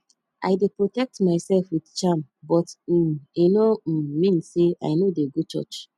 i dey protect myself with charm but um e no um mean say i no dey go church